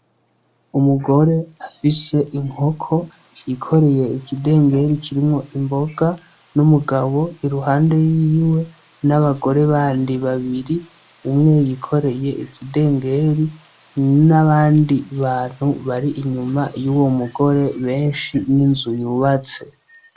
Umugore afise inkoko yikoreye ikidengeri kirimwo imboga n'umugabo iruhande yiwe n'abagore bandi babiri , umwe yikoreye ikidengeri n'abandi bantu bari inyuma.